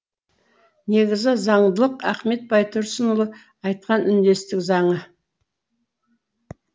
негізі заңдылық ахмет байтұрсынұлы айтқан үндестік заңы